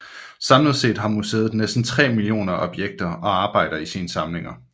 Samlet set har museet næsten 3 millioner objekter og arbejder i sine samlinger